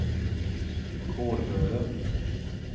Kårböle